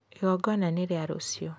Igongona nĩ rĩa rũciũ